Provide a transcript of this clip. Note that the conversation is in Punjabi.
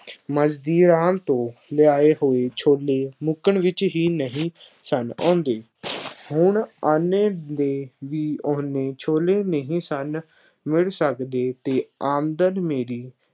ਮਜ਼੍ਹਬੀ ਰਾਮ ਤੋਂ ਲਿਆਏ ਹੋਏ ਛੋਲੇ ਮੁੱਕਣ ਵਿੱਚ ਹੀ ਨਹੀਂ ਸਨ ਆਉਂਦੇ। ਹੁਣ ਆਨੇ ਦੇ ਵੀ ਉੱਨੇ ਛੋਲੇ ਨਹੀਂ ਸਨ ਮਿਲ ਸਕਦੇ ਅਤੇ ਆਮਦਨ ਮੇਰੀ